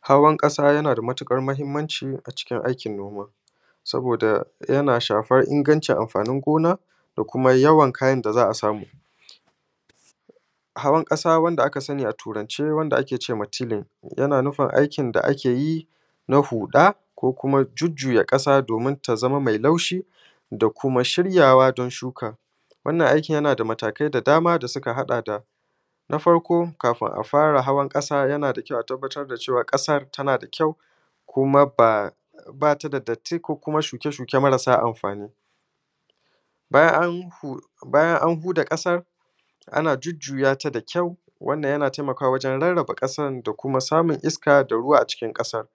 hawan ƙasa ya na da matuƙar muhimmanci a cikin aikin noma saboda yana shafan ingancin amfanin gona da kuma yawan kayan da za a samu hawan ƙasa wanda aka sani a turance wanda ake ce ma tealing yana nufin aikin da ake yi na huɗa ko kuma jujjuya ƙasa domin ta za ma mai laushi da kuma shiryawa don shuka wannan aiki yana da matakai da dama da suka haɗa da na farko kafin a fara hawan ƙasa yana da kyau a tabbatar da cewa ƙasar yana da kyau kuma ba ta da datti ko kuma shuke shuke marasa amfani bayan an huda ƙasar ana jujjuya ta da kyau wannan yana taimakawa wajan rarraba ƙasar da kuma samun iskan da ruwa a cikin ƙasa